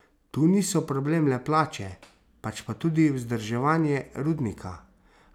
Tu niso problem le plače, pač pa tudi vzdrževanje rudnika.